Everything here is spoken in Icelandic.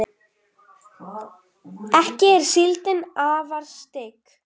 ekki er síldin afar stygg